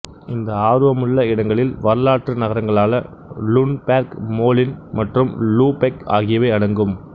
இந்த ஆர்வமுள்ள இடங்களில் வரலாற்று நகரங்களான லுன்பேர்க் மோல்ன் மற்றும் லூபெக் ஆகியவை அடங்கும்